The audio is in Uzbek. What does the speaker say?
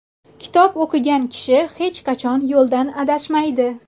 Kitob o‘qigan kishi hech qachon yo‘ldan adashmaydi.